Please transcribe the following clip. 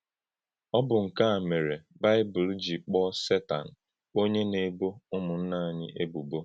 Ọ̀ bụ́ nke a mèré Baịbụl jì kpọ́ọ̀ Sétan “ónye na-ebọ̀ Ụ́mụ̀nnà ànyí ébùbọ̀.”